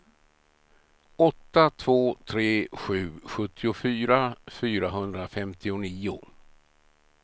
åtta två tre sju sjuttiofyra fyrahundrafemtionio